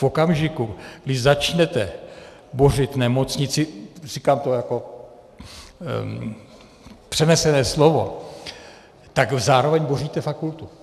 V okamžiku, kdy začnete bořit nemocnici, říkám to jako přenesené slovo, tak zároveň boříte fakultu.